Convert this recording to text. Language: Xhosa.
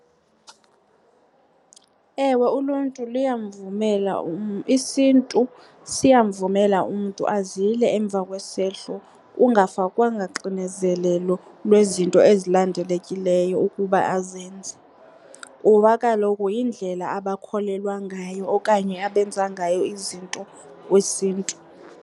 Ewe, uluntu luyamvumela , isiNtu siyamvumela umntu azile emva kwesehlo kungafakwanga xinezelelo lwezinto ezilindelekileyo ukuba azenze kuba kaloku yindlela abakholelwa ngayo okanye abenza ngayo izinto ngokwesiNtu.